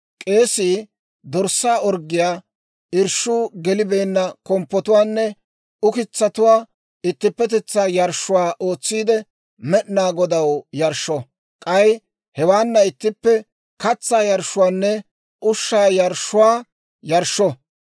K'eesii dorssaa orggiyaa, irshshuu gelibeenna komppotuwaanne ukitsatuwaa ittippetetsaa yarshshuwaa ootsiide, Med'inaa Godaw yarshsho. K'ay hewaana ittippe katsaa yarshshuwaanne ushshaa yarshshuwaa yarshsho.